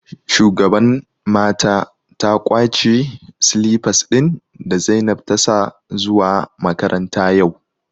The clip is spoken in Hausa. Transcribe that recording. shugaban mata ta kwace silipas ɗin da zainab ta sa zuwa makaranta yau